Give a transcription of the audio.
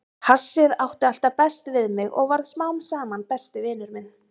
Hassið átti alltaf best við mig og varð smám saman besti vinur minn.